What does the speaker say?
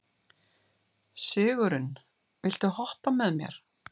Sigurunn, viltu hoppa með mér?